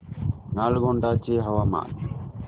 नालगोंडा चे हवामान